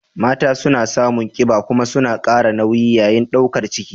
Mata suna samun kiba kuma suna kara nauyi yayin daukar ciki.